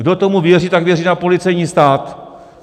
Kdo tomu věří, tak věří na policejní stát.